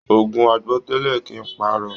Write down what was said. Ogun àgbọ́tẹlẹ́ kìí pá arọ.